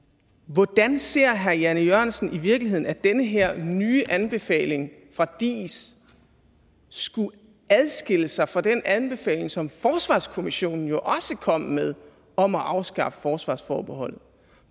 hvordan ser herre jan e jørgensen i virkeligheden at den her nye anbefaling fra diis skulle adskille sig fra den anbefaling som forsvarskommissionen jo også kom med om at afskaffe forsvarsforbeholdet